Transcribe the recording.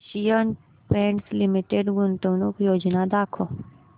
Asian Paints Limited गुंतवणूक योजना दाखव